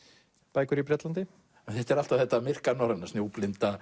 bækur í Bretlandi alltaf þetta myrka norræna